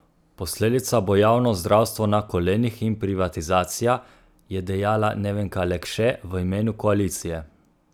Posledica bo javno zdravstvo na kolenih in privatizacija, je dejala Nevenka Lekše v imenu koalicije.